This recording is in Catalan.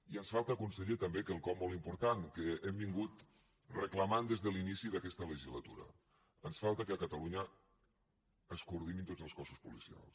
i ens falta conseller també quelcom molt important que ho hem estat reclamant des de l’inici d’aquest legislatura ens falta que a catalunya es coordinin tots els cossos policials